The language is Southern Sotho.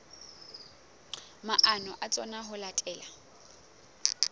maano a tsona ho latela